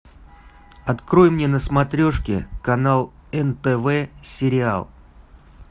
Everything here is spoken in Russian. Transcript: открой мне на смотрешке канал нтв сериал